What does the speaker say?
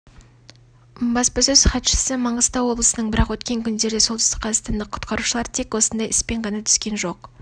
баспасөз хатшысы маңғыстау облысының бірақ өткен күндерде солтүстік қазақстандық құтқарушылар тек осындай іспен ғана түскен жоқ